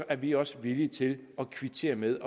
er vi også villige til at kvittere med